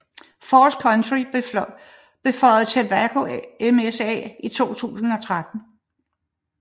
Falls County blev føjet til Waco MSA i 2013